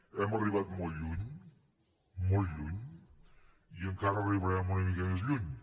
hem arribat molt lluny molt lluny i encara arribarem una mica més lluny